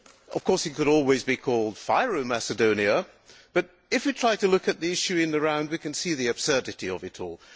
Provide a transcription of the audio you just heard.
Of course it could always be called FYROM Macedonia', but if we try to look at the issue in the round we can see the absurdity of it all.